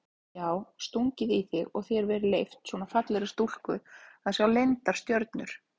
Já stungið í þig og þér verið leyft, svona fallegri stúlku að sjá leyndar stjörnur?